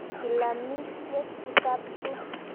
Kilamisyek tisap chu.